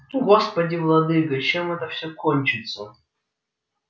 господи владыко чем это все кончится